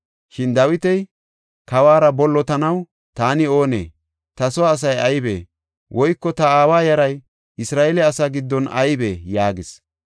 Shin Dawiti, “Kawora bollotanaw taani oonee? Ta soo asay aybee? Woyko ta aawa yaray Isra7eele asaa giddon aybee?” yaagis.